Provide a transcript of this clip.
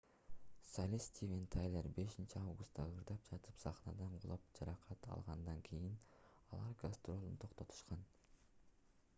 солист стивен тайлер 5-августта ырдап жатып сахнадан кулап жаракат алгандан кийин алар гастролун токтотушкан